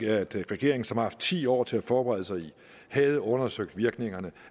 at regeringen som har haft ti år til at forberede sig i havde undersøgt virkningerne